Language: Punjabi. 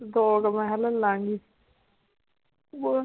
ਦੋ ਕ ਮੈਂ ਕਿਹਾ ਲੈ ਲਾਂਗੀ ਬਹੁਤ.